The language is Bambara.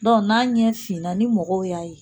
Dɔn n'a ɲɛ finna ni mɔgɔw y'a ye.